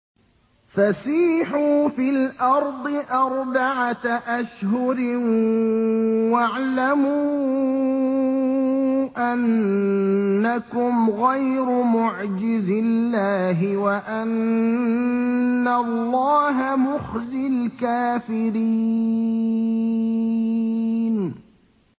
فَسِيحُوا فِي الْأَرْضِ أَرْبَعَةَ أَشْهُرٍ وَاعْلَمُوا أَنَّكُمْ غَيْرُ مُعْجِزِي اللَّهِ ۙ وَأَنَّ اللَّهَ مُخْزِي الْكَافِرِينَ